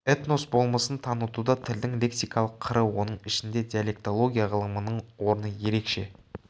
этнос болмысын танытуда тілдің лексикалық қыры оның ішінде диалектология ғылымының орны ерекше